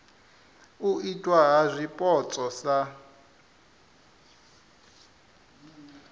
u itwa ha zwipotso sa